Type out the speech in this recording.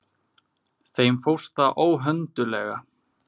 Þeim fórst það óhönduglega.